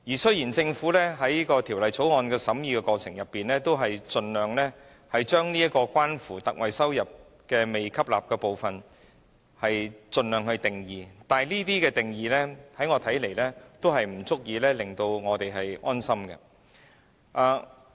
雖然政府在《條例草案》的審議過程中，已盡量就關乎獲特惠的營業收入但未被吸納的部分作出定義，但這些定義在我看來並不足以令我們安心。